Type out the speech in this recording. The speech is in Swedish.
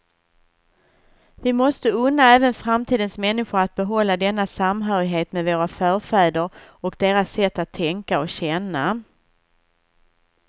Vi måste unna även framtidens människor att behålla denna samhörighet med våra förfäder och deras sätt att tänka och känna.